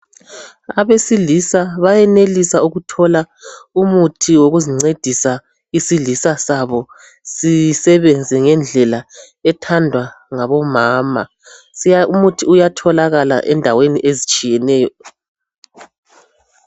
Abesilisa bayenelisa ukuthola umuthi wokuzincedisa isilisa sabo .sisebenze ngendlela ethandwa ngabomama. Umuthi uyatholakala endaweni ezitshiyeneyo.